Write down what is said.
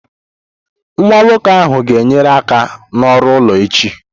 Nwa nwoke ahụ ga-enyere aka n'ọrụ ụlọ echi.